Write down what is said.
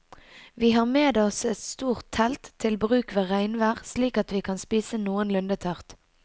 Vi har med oss et stort telt til bruk ved regnvær slik at vi kan spise noenlunde tørt.